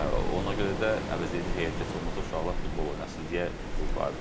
Ona görə də əvəzedici heyətdə heç olmasa uşaqlar futbol oynasın deyə bu var idi.